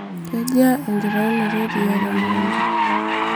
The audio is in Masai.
kejia enkitainoto eriaa temukunta?